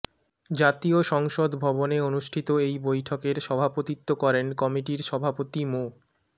জাতীয় সংসদ ভবনে অনুষ্ঠিত এই বৈঠকের সভাপতিত্ব করেন কমিটির সভাপতি মো